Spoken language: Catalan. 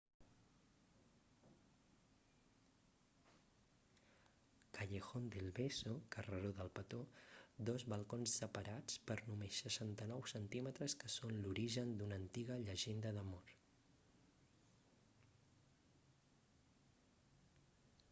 callejón del beso carreró del petó. dos balcons separats per només 69 centímetres que són l'origen d'una antiga llegenda d'amor